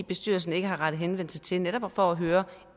bestyrelsen ikke har rettet henvendelse til netop for at høre